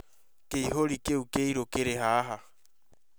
Kĩihũri kĩu kĩirũ kĩrĩ haha